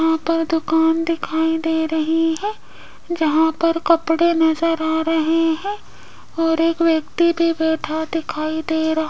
यहां पर दुकान दिखाई दे रही है जहां पर कपड़े नज़र आ रहे हैं और एक व्यक्ति भी बैठा दिखाई दे रहा --